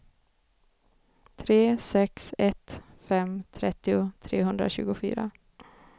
tre sex ett fem trettio trehundratjugofyra